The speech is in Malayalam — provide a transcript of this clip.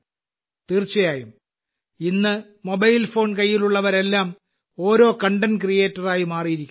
തീർച്ചയായും ഇന്ന് മൊബൈൽ കൈയിലുള്ളവരെല്ലാം ഓരോ കണ്ടന്റ് ക്രിയേറ്ററായി മാറിയിരിക്കുന്നു